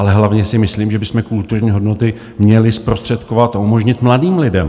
Ale hlavně si myslím, že bychom kulturní hodnoty měli zprostředkovat a umožnit mladým lidem.